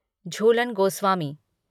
Jhulan Goswami